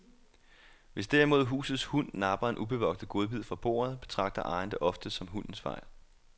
Hvis derimod husets hund napper en ubevogtet godbid fra bordet, betragter ejeren det oftest som hundens fejl.